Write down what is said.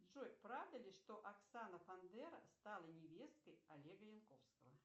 джой правда ли что оксана фандера стала невесткой олега янковского